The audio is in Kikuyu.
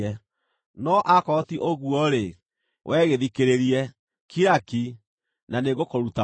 No akorwo ti ũguo-rĩ, wee gĩthikĩrĩrie; kira ki, na nĩngũkũruta ũũgĩ.”